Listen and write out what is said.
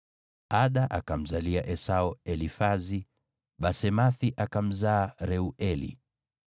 Ada akamzalia Esau Elifazi, Basemathi akamzaa Reueli,